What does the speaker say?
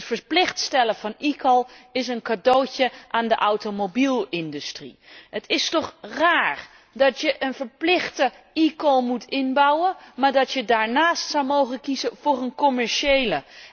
Het verplicht stellen van eCall is een cadeautje aan de automobielindustrie. Het is toch raar dat je een verplichte eCall moet inbouwen, maar dat je daarnaast zou mogen kiezen voor een commerciële.